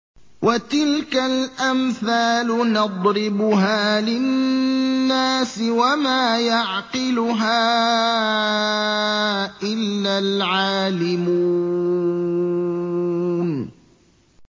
وَتِلْكَ الْأَمْثَالُ نَضْرِبُهَا لِلنَّاسِ ۖ وَمَا يَعْقِلُهَا إِلَّا الْعَالِمُونَ